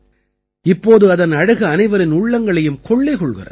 இப்போது இதன் அழகு அனைவரின் உள்ளங்களையும் கொள்ளை கொள்கிறது